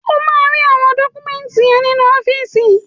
Ó máa rí àwọn dọ́kúmẹ́ńtì yẹn nínú ọ́fíìsì.